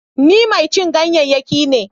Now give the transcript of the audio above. Ni mai cin ganyayyaki ne.